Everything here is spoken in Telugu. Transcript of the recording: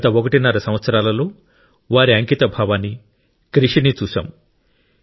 గత ఒకటిన్నర సంవత్సరాల్లో వారి అంకితభావాన్ని కృషిని చూశాం